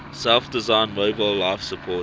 self designed mobile life support